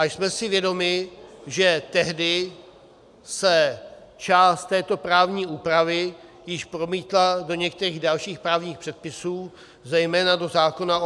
A jsme si vědomi, že tehdy se část této právní úpravy již promítla do některých dalších právních předpisů, zejména do zákona o -